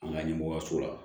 An ka ɲɛmɔgɔyaso la